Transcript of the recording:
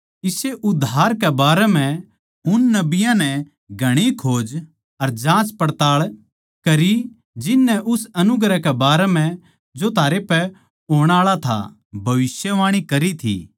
इस्से उद्धार कै बारै म्ह उन नबियाँ नै घणी खोज अर जाँचपड़ताळ करी जिननै उस अनुग्रह कै बारै म्ह जो थारै पै होण आळा था भविष्यवाणी करी थी